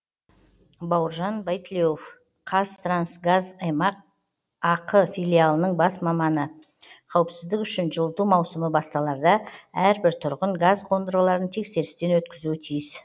бауыржан байтілеуов қазтрансгаз аймақ ақ филиалының бас маманы қауіпсіздік үшін жылыту маусымы басталарда әрбір тұрғын газ қондырғыларын тексерістен өткізуі тиіс